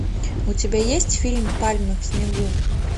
у тебя есть фильм пальмы в снегу